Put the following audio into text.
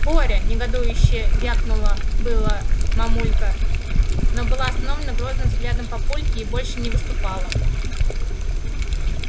боря негодующе вякнула было мамулька но была остановлена грозным взглядом папульки и больше не выступала